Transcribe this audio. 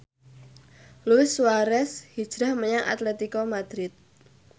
Luis Suarez hijrah menyang Atletico Madrid